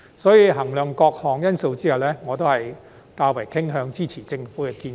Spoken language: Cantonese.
因此，在衡量各項因素後，我傾向支持政府的建議。